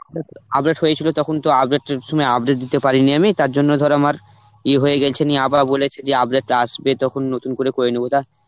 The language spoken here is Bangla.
update হয়েছিল তখন তো update এর সময় update দিতে পারিনি আমি, তার জন্য ধর আমার ইয়ে হয়ে গেছে নি বলেছে যে update আসবে তখন নতুন করে করে নেব তা.